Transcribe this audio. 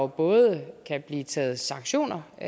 både kan blive taget sanktioner i